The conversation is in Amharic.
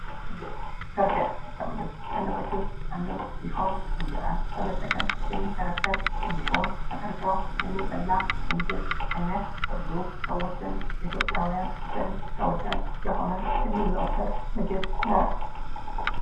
ፍርፍር ፍርፍር ከምግብ አይነቶች ዉስጥ አንዱ ሲሆን እንጀራን በመጠቀም ተፈርፍሮ የሚበላ የምግብ አይነት በብዙ ሰዎች ዘንድ በኢትዮጵያዉያን ዘንድ ተወዳጅ የሆነ የሚዘወተር ምግብ ነው።